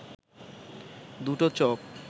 দুটো চপ